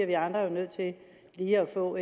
vi andre jo nødt til lige at få